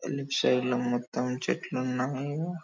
మొత్తం చెట్లు ఉన్నాయి.